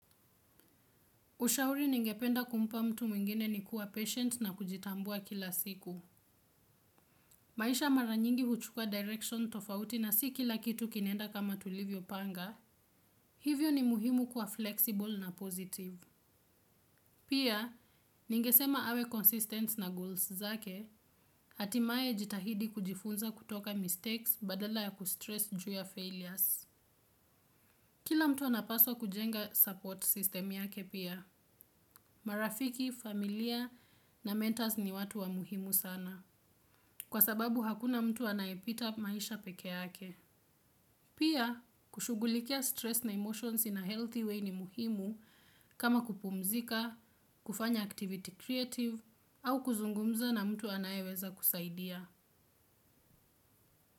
Ushauri ningependa kumpa mtu mwingine ni kuwa patient na kujitambua kila siku. Maisha mara nyingi huchuka direction tofauti na si kila kitu kinaenda kama tulivyopanga. Hivyo ni muhimu kuwa flexible na positive. Pia, ningesema awe consistent na goals zake, hatimae jitahidi kujifunza kutoka mistakes badala ya kustress ju ya failures. Kila mtu anapaswa kujenga support system yake pia. Marafiki, familia na mentors ni watu wa muhimu sana. Kwa sababu hakuna mtu anayepita maisha peke yake. Pia, kushughulikia stress na emotions in a healthy way ni muhimu. Kama kupumzika, kufanya activity creative au kuzungumza na mtu anayeweza kusaidia.